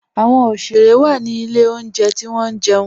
Awọn oṣere wa ni ilẹ̀ ọ̀njẹ̀ ti wọn jẹun